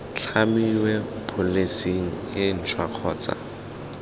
tlhamiwe pholesi e ntšhwa kgotsa